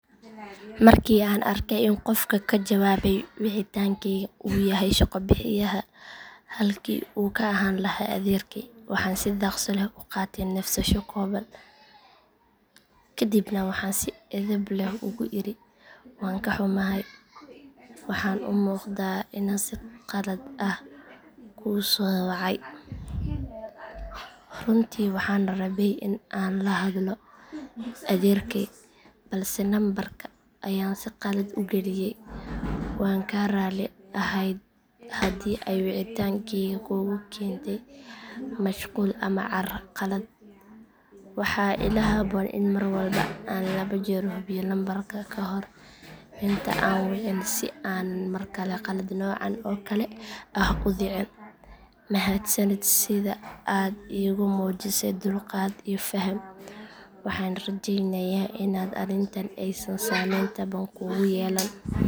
Markii aan arkay in qofka ka jawaabay wicitaankeyga uu yahay shaqo bixiyahayga halkii uu ka ahaan lahaa adeerkay waxaan si dhaqso leh u qaatay neefsasho kooban kadibna waxaan si edeb leh ugu iri waan ka xumahay waxaan u muuqdaa inaan si khalad ah kuu soo wacay. Runtii waxaan rabay in aan la hadlo adeerkay balse nambarka ayaan si khaldan u geliyay. Waan ka raalli ahay haddii ay wicitaankeyga kugu keentay mashquul ama carqalad. Waxaa ila habboon in mar walba aan laba jeer hubiyo lambarka ka hor inta aan wicin si aanan mar kale qalad noocan oo kale ah u dhicin. Mahadsanid sida aad iigu muujisay dulqaad iyo faham. Waxaan rajeynayaa in arrintani aysan saameyn taban kugu yeelan.